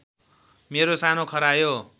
मेरो सानो खरायो